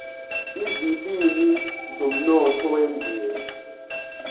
izilimi zomnotho wemvelo